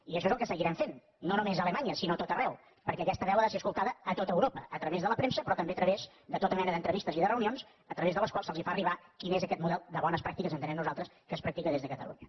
i això és el que seguirem fent no només a alemanya sinó a tot arreu perquè aquesta veu ha de ser escoltada a tot europa a través de la premsa però també a través de tota mena d’entrevistes i de reunions a través de les quals se’ls fa arribar quin és aquest model de bones pràctiques entenem nosaltres que es practica des de catalunya